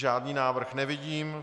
Žádný návrh nevidím.